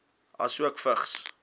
asook vigs